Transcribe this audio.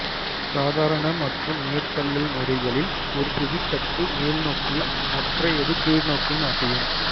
சாதாரண மற்றும் மேற்தள்ளல் முறைகளில் ஒரு புவித்தட்டு மேல் நோக்கியும் மற்றையது கீழ்நோக்கியும் அசையும்